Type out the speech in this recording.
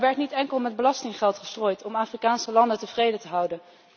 Maar er werd niet enkel met belastinggeld gestrooid om Afrikaanse landen tevreden te houden.